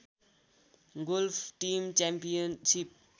golf team championship